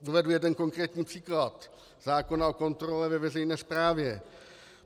Uvedu jeden konkrétní příklad, zákon o kontrole ve veřejné správě.